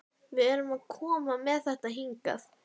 Við erum að koma með þetta hingað?